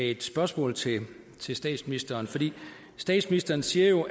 et spørgsmål til statsministeren statsministeren siger jo